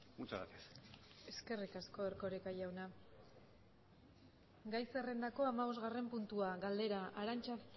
muchas gracias eskerrik asko erkoreka jauna gai zerrendako hamabostgarren puntua galdera arantza